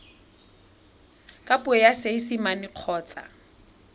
ka puo ya seesimane kgotsa